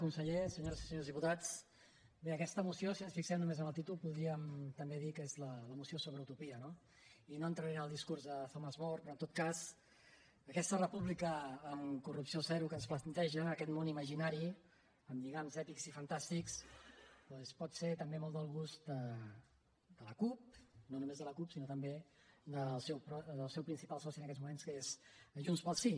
conseller senyores i senyors diputats bé aquesta moció si ens fixem només en el títol podríem també dir que és la moció sobre utopia no i no entraré en el discurs de thomas more però en tot cas aquesta república amb corrupció zero que ens planteja aquest món imaginari amb lligams èpics i fantàstics doncs pot ser també molt del gust de la cup no només de la cup sinó també del seu principal soci en aquests moments que és junts pel sí